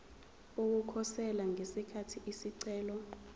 ukukhosela ngesikhathi isicelo